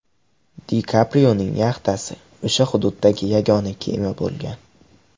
Di Kaprioning yaxtasi o‘sha hududdagi yagona kema bo‘lgan.